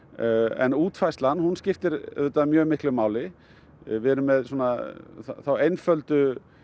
en útfærslan skiptir auðvitað mjög miklu máli við erum með það einfalda